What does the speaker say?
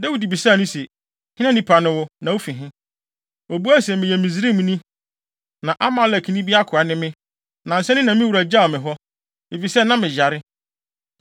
Dawid bisaa no se, “Hena nipa ne wo, na wufi he?” Obuae se, “Meyɛ Misraimni, na Amalekni bi akoa ne me. Nnansa ni na me wura gyaw me hɔ, efisɛ na meyare.